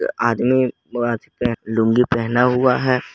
आदमी लूंगी पहना हुआ है।